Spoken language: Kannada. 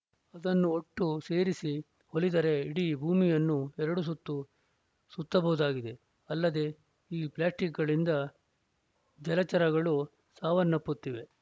ಅದನ್ನು ಒಟ್ಟು ಸೇರಿಸಿ ಒಲಿದರೆ ಇಡೀ ಭೂಮಿಯನ್ನು ಎರಡು ಸುತ್ತು ಸುತ್ತಬಹುದಾಗಿದೆ ಅಲ್ಲದೆ ಈ ಪ್ಲಾಸ್ಟಿಕ್‌ಗಳಿಂದ ಜಲಚರಗಳು ಸಾವನ್ನಪ್ಪುತ್ತಿವೆ